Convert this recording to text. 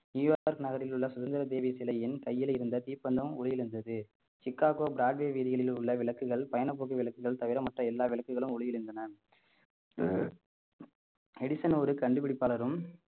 New York நகரில் உள்ள சுதந்திர தேவி சிலையின் கையில் இருந்த தீப்பந்தம் உயிரிழந்தது சிக்காக்கோ பிராட்வே வீதிகளில் உள்ள விளக்குகள் பயணப்போக்கு விளக்குகள் தவிர மற்ற எல்லா விளக்குகளும் ஒளியிளந்தன எடிசன் ஒரு கண்டுபிடிப்பாளரும்